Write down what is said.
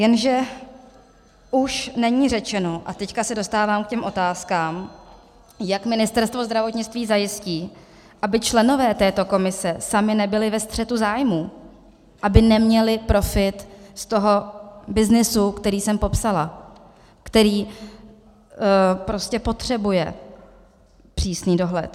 Jenže už není řečeno, a teď se dostávám k těm otázkám, jak Ministerstvo zdravotnictví zajistí, aby členové této komise sami nebyli ve střetu zájmů, aby neměli profit z toho byznysu, který jsem popsala, který prostě potřebuje přísný dohled.